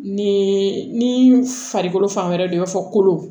Ni ni farikolo fan wɛrɛ don i b'a fɔ kolon